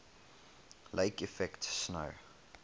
lake effect snow